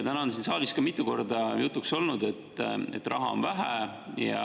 Täna on siin saalis mitu korda jutuks olnud, et raha on vähe.